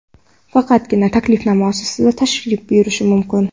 Faqatgina taklifnoma asosida tashrif buyurish mumkin.